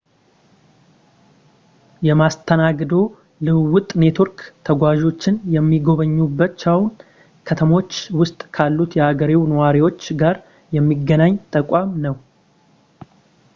የመስተንግዶ ልውውጥ ኔትወርክ ተጓዦችን የሚጎበኙዋቸው ከተሞች ውስጥ ካሉት የሀገሬው ነዋሪዎች ጋር የሚያገናኝ ተቋም ነው